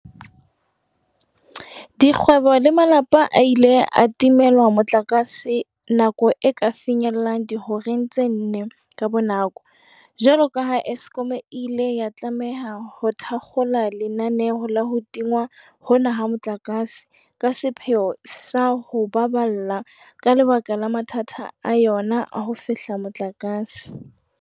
Dikgwebo le malapa a ile a timelwa motlakase nako e ka finyellang dihoreng tse nne ka bonako jwalo ka ha Eskom e ile ya tlameha ho thakgola lenaneo la ho tingwa hona ha motlakase ka sepheo sa o ho baballa ka lebaka la mathata a yona a ho fehla motlakase.